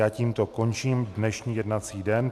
Já tímto končím dnešní jednací den.